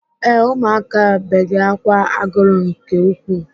Ee, ụmụaka bege ákwà agụrụ nke ukwuu.